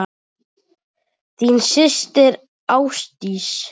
Þín systir, Ásdís.